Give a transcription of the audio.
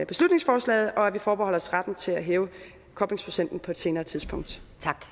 beslutningsforslaget og at vi forbeholder os retten til at hæve koblingsprocenten på et senere tidspunkt